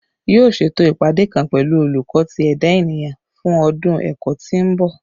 Yoo ṣeto ipade kan pẹlu Oluko ti Eda Eniyan fun ọdun ẹkọ ti n bọ